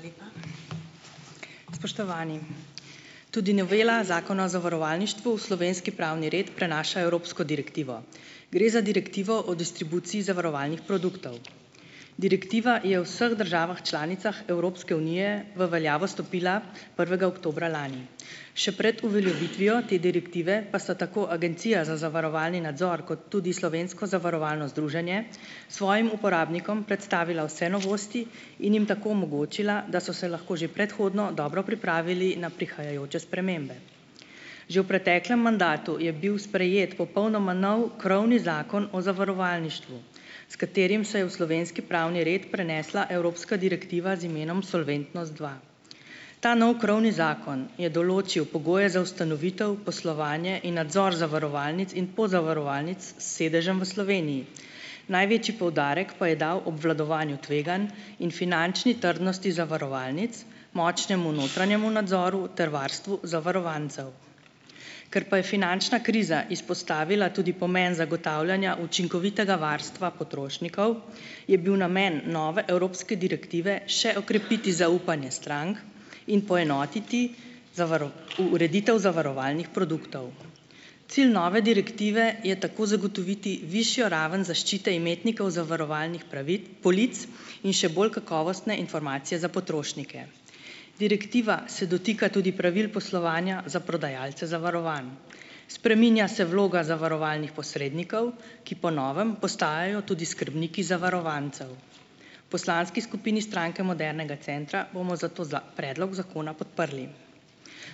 Hvala lepa. Spoštovani! Tudi novela Zakona o zavarovalništvu v slovenski pravni red prenaša evropsko direktivo. Gre za direktivo o distribuciji zavarovalnih produktov. Direktiva je v vseh državah članicah Evropske unije v veljavo stopila prvega oktobra lani, še pred uveljavitvijo te direktive pa so tako Agencija za zavarovalni nadzor kot tudi Slovensko zavarovalno združenje svojim uporabnikom predstavila vse novosti in jim tako omogočila, da so se lahko že predhodno dobro pripravili na prihajajoče spremembe. Že v preteklem mandatu je bil sprejet popolnoma nov krovni zakon o zavarovalništvu, s katerim se je v slovenski pravni red prenesla evropska direktiva z imenom Solventnos dva. Ta novi krovni zakon je določil pogoje za ustanovitev, poslovanje in nadzor zavarovalnic in pozavarovalnic s sedežem v Sloveniji. Največji poudarek pa je dal obvladovanju tveganj in finančni trdnosti zavarovalnic, močnemu notranjemu nadzoru ter varstvu zavarovancev. Ker pa je finančna kriza izpostavila tudi pomen zagotavljanja učinkovitega varstva potrošnikov, je bil namen nove evropske direktive še okrepiti zaupanje strank in poenotiti ureditev zavarovalnih produktov. Cilj nove direktive je tako zagotoviti višjo raven zaščite imetnikov zavarovalnih polic in še bolj kakovostne informacije za potrošnike. Direktiva se dotika tudi pravil poslovanja za prodajalce zavarovanj. Spreminja se vloga zavarovalnih posrednikov, ki po novem postajajo tudi skrbniki zavarovancev. Poslanski skupini Stranke modernega centra bomo zato za predlog zakona podprli.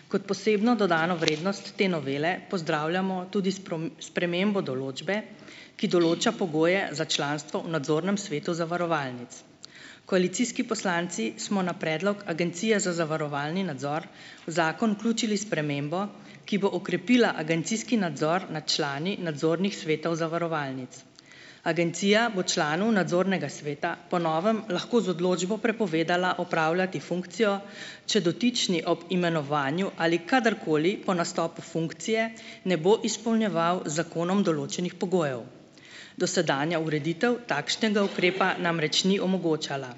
Kot posebno dodano vrednost te novele pozdravljamo tudi spremembo določbe, ki določa pogoje za članstvo v nadzornem svetu zavarovalnic. Koalicijski poslanci smo na predlog agencije za zavarovalni nadzor v zakon vključili spremembo, ki bo okrepila agencijski nadzor nad člani nadzornih svetov zavarovalnic. Agencija bo članu nadzornega sveta po novem lahko z odločbo prepovedala opravljati funkcijo, če dotični ob imenovanju ali kadarkoli po nastopu funkcije ne bo izpolnjeval z zakonom določenih pogojev. Dosedanja ureditev takšnega ukrepa namreč ni omogočala.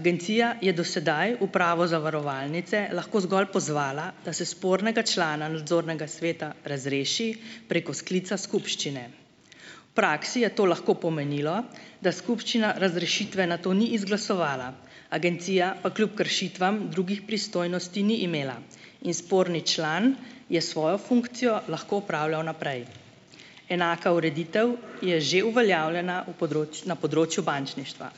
Agencija je do sedaj upravo zavarovalnice lahko zgolj pozvala, da se spornega člana nadzornega sveta razreši preko sklica skupščine. V praksi je to lahko pomenilo, da skupščina razrešitve nato ni izglasovala, agencija pa kljub kršitvam drugih pristojnosti ni imela in sporni član je svojo funkcijo lahko opravljal naprej. Enaka ureditev je že uveljavljena v na področju bančništva.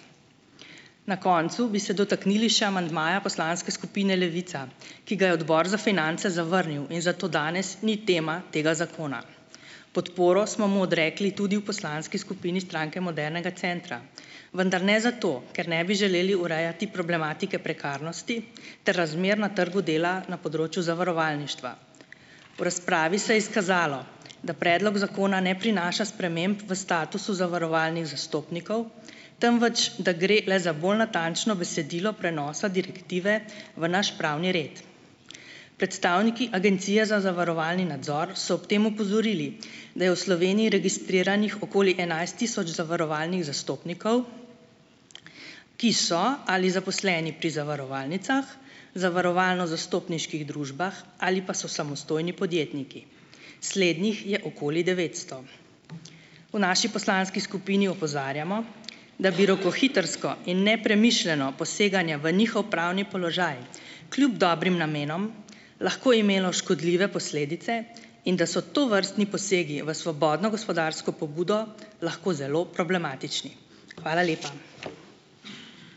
Na koncu bi se dotaknili še amandmaja poslanske skupine Levica, ki ga je Odbor za finance zavrnil in zato danes ni tema tega zakona. Podporo smo mu odrekli tudi v poslanski skupini Stranke modernega centra, vendar ne zato, ker ne bi želeli urejati problematike prekarnosti ter razmer na trgu dela na področju zavarovalništva. V razpravi se je izkazalo, da predlog zakona ne prinaša sprememb v statusu zavarovalnih zastopnikov, temveč da gre le za bolj natančno besedilo prenosa direktive v naš pravni red. Predstavniki Agencije za zavarovalni nadzor so ob tem opozorili, da je v Sloveniji registriranih okoli enajst tisoč zavarovalnih zastopnikov, ki so ali zaposleni pri zavarovalnicah, zavarovalno-zastopniških družbah ali pa so samostojni podjetniki. Slednjih je okoli devetsto. V naši poslanski skupini opozarjamo, da bi rokohitrsko in nepremišljeno poseganje v njihov pravni položaj kljub dobrim namenom lahko imelo škodljive posledice in da so tovrstni posegi v svobodno gospodarsko pobudo lahko zelo problematični. Hvala lepa.